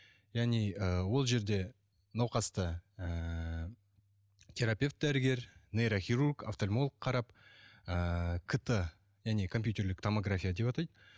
яғни ы ол жерде науқасты ыыы терапевт дәрігер нейрохирург офтольмолог қарап ыыы кт және компьютерлік томография деп атайды